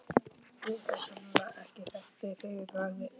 Ég hefði sennilega ekki þekkt þig að fyrra bragði.